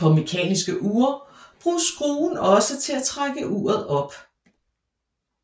På mekaniske ure bruges skruen også til at trække uret op